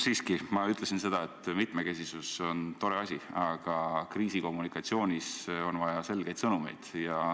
Siiski, ma ütlesin seda, et mitmekesisus on tore asi, aga kriisikommunikatsioonis on vaja selgeid sõnumeid.